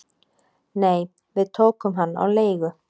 """Nei, við tókum hann á leigu"""